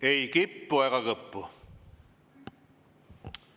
Ei kippu ega kõppu.